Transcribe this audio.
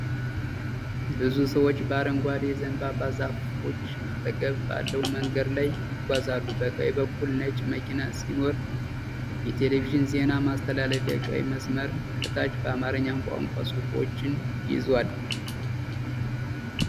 ብዙ ሰዎች በአረንጓዴ የዘንባባ ዛፎች አጠገብ ባለው መንገድ ላይ ይጓዛሉ። በቀኝ በኩል ነጭ መኪና ሲኖር፣ የቴሌቪዥን ዜና ማስተላለፊያ ቀይ መስመር ከታች በአማርኛ ቋንቋ ጽሑፎችን ይዟል።